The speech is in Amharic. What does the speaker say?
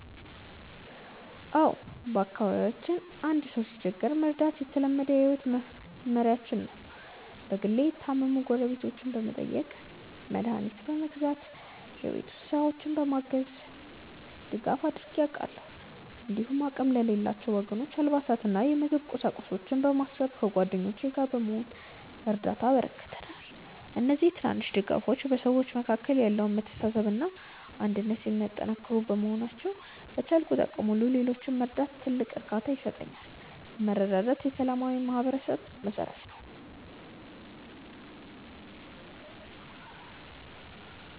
አዎ፣ በአካባቢያችን አንድ ሰው ሲቸገር መርዳት የተለመደ የህይወት መመሪያችን ነው። በግሌ የታመሙ ጎረቤቶችን በመጠየቅ፣ መድኃኒት በመግዛት እና የቤት ውስጥ ስራዎችን በማገዝ ድጋፍ አድርጌ አውቃለሁ። እንዲሁም አቅም ለሌላቸው ወገኖች አልባሳትንና የምግብ ቁሳቁሶችን በማሰባሰብ ከጓደኞቼ ጋር በመሆን እርዳታ አበርክተናል። እነዚህ ትናንሽ ድጋፎች በሰዎች መካከል ያለውን መተሳሰብና አንድነት የሚያጠናክሩ በመሆናቸው፣ በቻልኩት አቅም ሁሉ ሌሎችን መርዳት ትልቅ እርካታ ይሰጠኛል። መረዳዳት የሰላማዊ ማህበረሰብ መሠረት ነው።